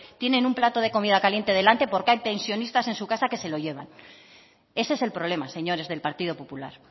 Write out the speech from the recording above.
tienen un planto de comida caliente delante porque hay pensionistas en su casa que se lo llevan ese es el problema señores del partido popular